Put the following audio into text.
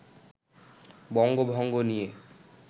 বঙ্গভঙ্গ নিয়ে